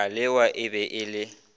kalewa e be e le